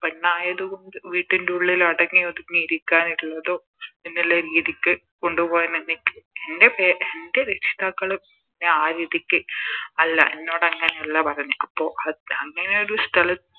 പെണ്ണായത് കൊണ്ട് വീട്ടിന്റുള്ളിൽ അടങ്ങി ഒതുങ്ങി ഇരിക്കാനുള്ളതോ എന്നുള്ള രീതിക്ക് കൊണ്ടു പോവാൻ എന്നെ എൻറെ പേ എൻറെ രക്ഷിതാക്കള് എന്നെ ആ രീതിക്ക് അല്ല എന്നോടങ്ങനെ അല്ല പറഞ്ഞെ അപ്പൊ അത് അങ്ങനെ ഒരു സ്ഥല